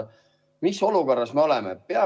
Mis olukorras me oleme?